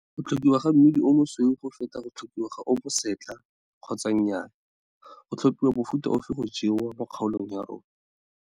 Go tlhokiwa ga mmidi o mosweu go feta go tlhokiwa ga o mosetlha kgotsa nnyaaya? Go tlhopiwa mofuta ofe go jewa mo kgaolong ya rona?